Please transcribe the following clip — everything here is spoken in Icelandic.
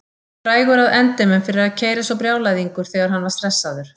Frægur að endemum fyrir að keyra eins og brjálæðingur þegar hann var stressaður.